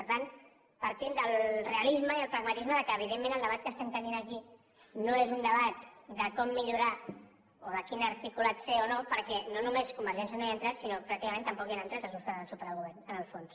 per tant partim del realisme i del pragmatisme que evidentment el debat que tenim aquí no és un debat de com millorar o de quin articulat fer o no perquè no només convergència no hi ha entrat sinó pràcticament tampoc hi han entrat els grups que donen suport al govern en el fons